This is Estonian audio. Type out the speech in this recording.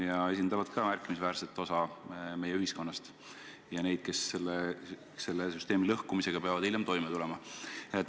Nad esindavad märkimisväärset osa meie ühiskonnast, nad esindavad inimesi, kes selle süsteemi lõhkumise tagajärgedega peavad hiljem toime tulema.